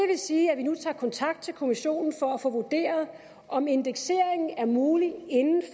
sige at vi nu tager kontakt til kommissionen for at få vurderet om indeksering er mulig inden